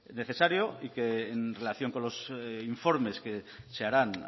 necesario y que en relación con los informes que se harán